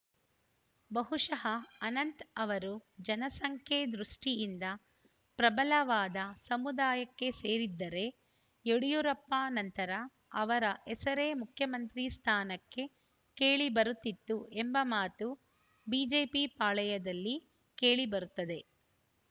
ಬಹುಶಃ ಅನಂತ್‌ ಅವರು ಜನಸಂಖ್ಯೆ ದೃಷ್ಟಿಯಿಂದ ಪ್ರಬಲವಾದ ಸಮುದಾಯಕ್ಕೆ ಸೇರಿದ್ದರೆ ಯಡಿಯೂರಪ್ಪ ನಂತರ ಅವರ ಹೆಸರೇ ಮುಖ್ಯಮಂತ್ರಿ ಸ್ಥಾನಕ್ಕೆ ಕೇಳಿಬರುತ್ತಿತ್ತು ಎಂಬ ಮಾತು ಬಿಜೆಪಿ ಪಾಳೆಯದಲ್ಲಿ ಕೇಳಿಬರುತ್ತದೆ